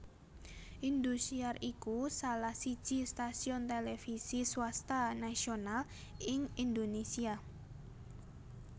Indosiar iku salah siji stasiun televisi swasta nasional ing Indonésia